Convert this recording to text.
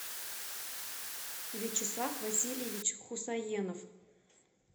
вячеслав васильевич хусаенов